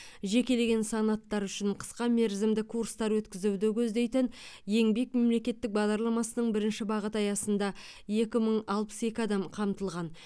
жекелеген санаттары үшін қысқамерзімді курстар өткізуді көздейтін еңбек мемлекеттік бағдарламасының бірінші бағыты аясында екі мың алпыс екі адам қамтылған